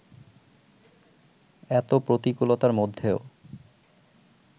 এত প্রতিকূলতার মধ্যেও